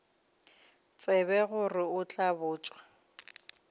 tsebe gore o tla botša